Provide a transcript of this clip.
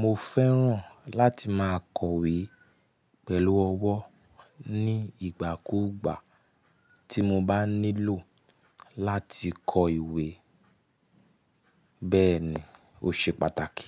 mo fẹ́ràn láti máa kọ̀wé pẹ̀lú ọwọ́ ní ìgbà kúùgbà tí mo bá nílò láti kọ ìwé. Bẹ́ẹ̀ni, ó ṣe pàtàkì.